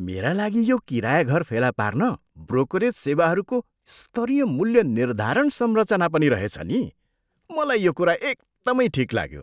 मेरा लागि यो किराया घर फेला पार्न ब्रोकरेज सेवाहरूको स्तरीय मूल्य निर्धारण संरचना पनि रहेछ नि। मलाई यो कुरा एकदमै ठिक लाग्यो।